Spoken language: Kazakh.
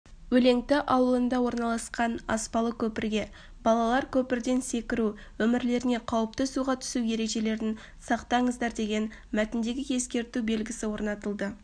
өлеңті ауылында орналасқан аспалы көпірге балалар көпірден секіру өмірлеріне қауіпті суға түсу ережелерін сақтаңыздар деген мәтіндегі ескерту белгісі орнатылды